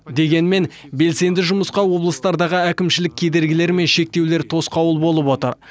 дегенмен белсенді жұмысқа облыстардағы әкімшілік кедергілер мен шектеулер тосқауыл болып отыр